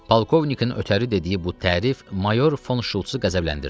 Polkovnikin ötəri dediyi bu tərif mayor Fon Şultsu qəzəbləndirdi.